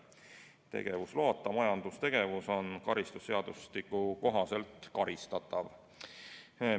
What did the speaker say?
Tegevusloata majandustegevus on karistusseadustiku kohaselt karistatav.